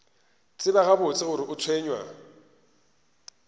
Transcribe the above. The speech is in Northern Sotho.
tseba gabotse gore o tshwenywa